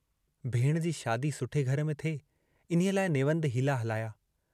भेणु जी शादी सुठे घर में थिए इन्हीअ लाइ नेवंद में हीला हलाया।